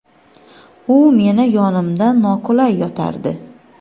u meni yonimda noqulay yotardi.